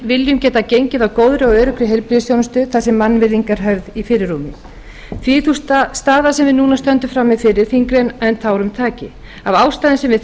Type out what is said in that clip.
viljum geta gengið að góðri og öruggri heilbrigðisþjónustu þar sem mannvirðing er höfð í fyrirrúmi því er sú staða sem við stöndum frammi fyrir þyngri en tárum taki af ástæðum sem við